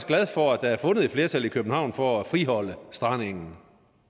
glad for at der er fundet flertal i københavn for at friholde strandengen